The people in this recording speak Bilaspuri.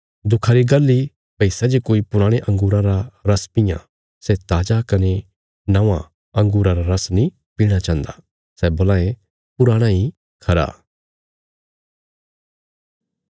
दुखा री गल्ल इ भई सै जे कोई पुराणे अंगूरां रा रस पीआं सै ताजा कने नौआं अँगूरा रा रस नीं पीणा चाहिन्दा सै बोलां ये पुराणा इ खरा